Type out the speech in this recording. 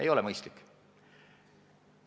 Ei ole mõistlik.